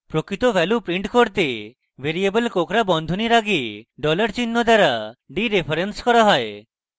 প্রকৃত value print করতে variable কোঁকড়া বন্ধনীর আগে $চিহ্ন দ্বারা ডিরেফারেন্স করা হয়